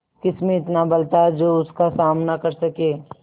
किसमें इतना बल था जो उसका सामना कर सके